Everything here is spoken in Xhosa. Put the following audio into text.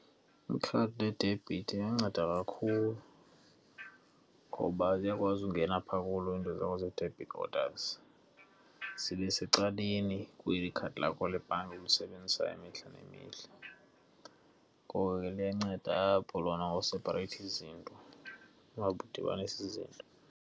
Ikhadi ledebhithi liyanceda kakhulu ngoba ziyakwazi ukungena phaa zakho zee-debit orders, zibe secaleni kweli khadi lakho lebhanki ulisebenzisa imihla nemihla. Ngoko ke liyanceda apho lona ngosaphareyitha izinto, ungadibanisi izinto.